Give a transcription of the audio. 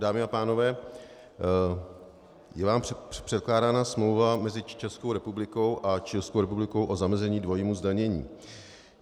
Dámy a pánové, je vám předkládána smlouva mezi Českou republikou a Chilskou republikou o zamezení dvojímu zdanění.